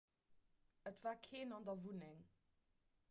et war keen an der wunneng